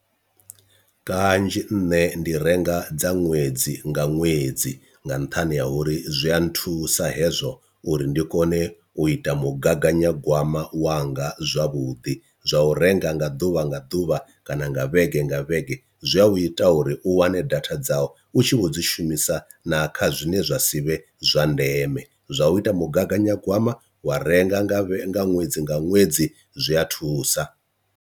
Kanzhi nne ndi renga dza ṅwedzi nga ṅwedzi nga nṱhani ha uri zwi a nthusa hezwo uri ndi kone u ita mugaganyagwama wanga zwavhuḓi, zwa u renga nga ḓuvha nga ḓuvha kana nga vhege nga vhege zwi a u ita uri u wane data dza u tshi vho dzi shumisa na kha zwine zwa si vhe zwa ndeme, zwa u ita mugaganyagwama wa renga nga vhe nga ṅwedzi nga ṅwedzi zwi a thusa.